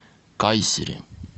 кайсери